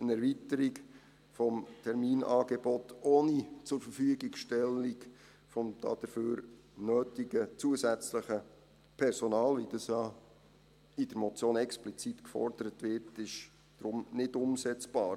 Eine Erweiterung des Terminangebots ohne Zurverfügungstellung des dafür nötigen zusätzlichen Personals, wie das ja in der Motion explizit gefordert wird, ist deshalb nicht umsetzbar.